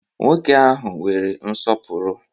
Nwoke ahụ nwere nsọpụrụ.